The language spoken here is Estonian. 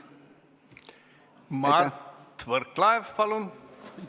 Mart Võrklaev, palun!